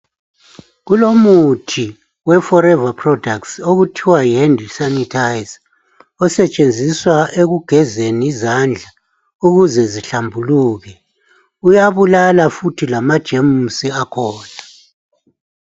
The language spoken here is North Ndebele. Kulomuthi weForeva okuthiwa yisanithayiza yezandla osetshenziswa ekugezeni izandla ukuze zihlambuluke uyabulala lamajemusi akhona.